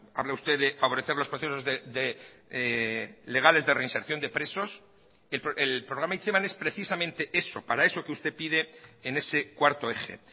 habla usted de favorecer los procesos legales de reinserción de presos el programa hitzeman es precisamente eso para eso que usted pide en ese cuarto eje